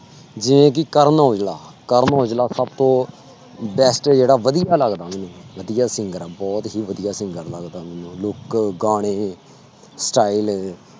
ਜਿਵੇਂ ਕਿ ਕਰਨ ਔਜਲਾ, ਕਰਨ ਔਜਲਾ ਸਭ ਤੋਂ best ਜਿਹੜਾ ਵਧੀਆ ਲੱਗਦਾ ਮੈਨੂੰ, ਵਧੀਆ singer ਆ ਬਹੁਤ ਹੀ ਵਧੀਆ singer ਲੱਗਦਾ ਮੈਨੂੰ look ਗਾਣੇ style